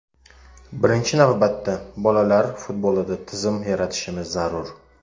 Birinchi navbatda bolalar futbolida tizim yaratishimiz zarur.